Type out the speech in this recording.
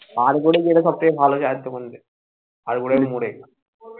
আরবরে যেটা সবথেকে ভালো চায়ের দোকান রে আরবরের মোড়ে